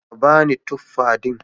Ka ba ni tuffa din